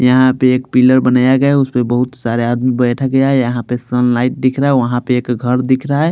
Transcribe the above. यहाँ पे एक पिलर बनाया गया है उसपे बहुत सारे आदमी बैठा गया है यहाँ पे सन लाइट दिख रहा है वहां पे एक घर दिख रहा है।